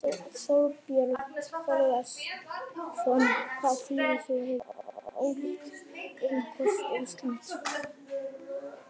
Þorbjörn Þórðarson: Hvaða þýðingu hefur þessi ályktun fyrir Rauða kross Íslands?